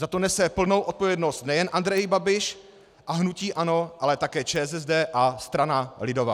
Za to nese plnou odpovědnost nejen Andrej Babiš a hnutí ANO, ale také ČSSD a strana lidová.